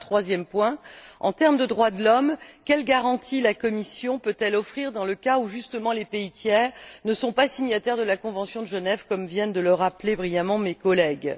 Enfin, troisième point, en termes de droits de l'homme, quelle garantie la Commission peut elle offrir dans le cas où, justement, les pays tiers ne sont pas signataires de la convention de Genève, comme viennent de le rappeler brillamment mes collègues?